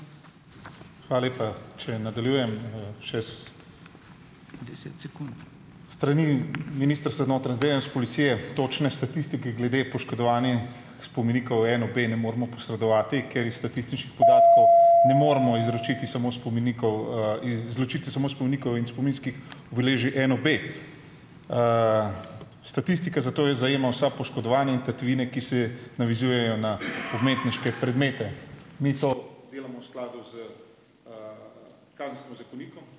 Hvala lepa. Če nadaljujem, še, s strani ministrstva za notranje zadeve in s policije točne statistike glede poškodovanih spomenikov NOB ne moremo posredovati, ker iz statističnih podatkov ne moremo izročiti samo spomenikov, izločiti samo spomenikov in spominskih obeležij NOB. Statistika zato zajema vsa poškodovanja in tatvine, ki se navezujejo na umetniške predmete. Mi to v skladu z, kazenskim zakonikom.